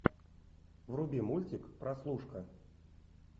вруби мультик прослушка